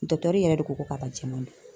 yɛrɛ de ko kaba jɛman don